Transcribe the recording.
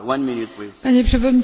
Panie przewodniczący!